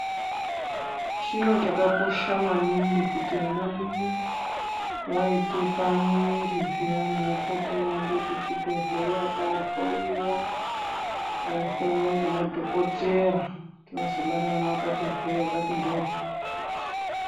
Chiro chakakosha maningi kuti anamai vaite pamwiri zviyani vapote veiende kuchibhedhleya koohloyiwa ngemadhogodheya kuti vazobara vana vakati hwe, vakati mhoryo.